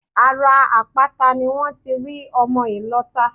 Ara àpáta ni wón ti rí ọmọ ìlọta